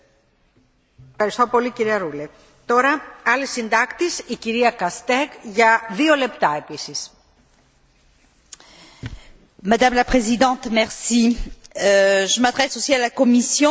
Madame la Présidente, je m'adresse aussi à la Commission à propos de cette notification d'aide au logement social par les Pays Bas, à laquelle la Commission européenne répond par la nécessité